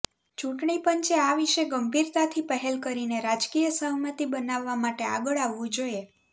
ચૂંટણી પંચે આ વિષે ગંભીરતાથી પહેલ કરીને રાજકીય સહમતિ બનાવવા માટે આગળ આવવું જોઈએ